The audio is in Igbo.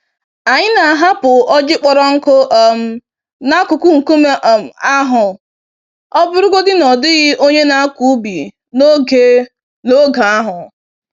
Anyị na-ahapụ ọjị kpọrọ nkụ um n'akụkụ nkume um ahụ ọbụrụgodi na ọ dịghị onye na-akọ ubi n'oge n'oge ahụ.